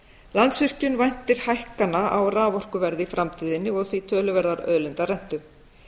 landsvirkjun væntir hækkana á raforkuverði í framtíðinni og því töluverðrar auðlindarentu